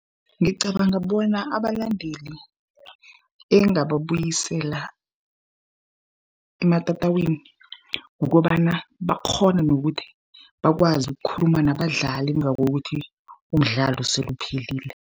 Ngicabanga bona abalandeli engababuyisela ematatawini, kukobana bakghone nokuthi bakwazi ukukhuluma nabadlali ngakokuthi umdlalo sele uphelile.